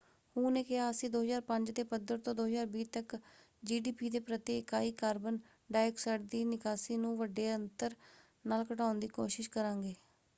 ਹੂ ਨੇ ਕਿਹਾ ਅਸੀਂ 2005 ਦੇ ਪੱਧਰ ਤੋਂ 2020 ਤੱਕ ਜੀਡੀਪੀ ਦੇ ਪ੍ਰਤੀ ਇਕਾਈ ਕਾਰਬਨ ਡਾਈਆਕਸਾਈਡ ਦੀ ਨਿਕਾਸੀ ਨੂੰ ਵੱਡੇ ਅੰਤਰ ਨਾਲ ਘਟਾਉਣ ਦੀ ਕੋਸ਼ਿਸ਼ ਕਰਾਂਗੇ।